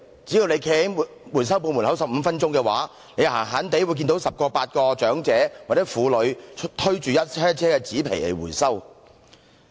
只要站在回收店門外15分鐘，經常也會看到十名八名長者或婦女推着一車車的紙皮前來回收。